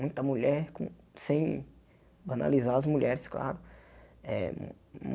Muita mulher com, sem banalizar as mulheres, claro. Eh hum